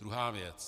Druhá věc.